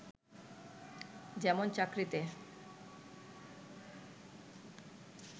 যেমন চাকরিতে